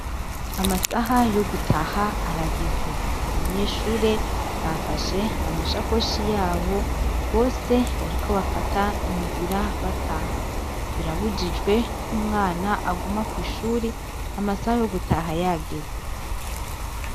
Amasaha yo gutaha arageze abanyeshure bafashe amashakoshi yabo bose bariko bafata inzira bataha birabujijwe ko umwana aguma kw'ishuri amasaha yo gutaha yageze.